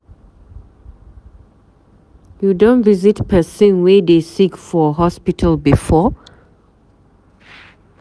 You don visit pesin wey dey sick for hospital before?